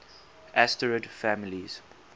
asterid families